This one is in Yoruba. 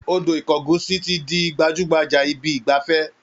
Odò ìkogusi ti di gbajú-gbajà ibi ìgbafẹ́